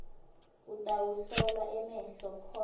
utawuhlolwa emehlo khona